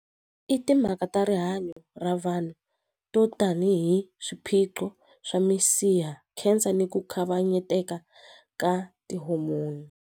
I timhaka ta rihanyo ra vanhu to tanihi swiphiqo swa minsiha cancer ni ku kavanyeteka ka tihomoni.